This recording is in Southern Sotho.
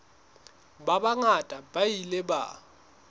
ba bangata ba ile ba